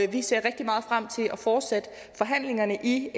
vi ser rigtig meget frem til at fortsætte forhandlingerne i